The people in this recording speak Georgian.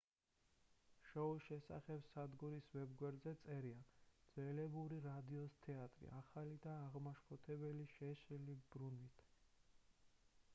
შოუს შესახებ სადგურის ვებ-გვერდზე წერია ძველებური რადიოს თეატრი ახალი და აღმაშფოთებელი შეშლილი ბრუნვით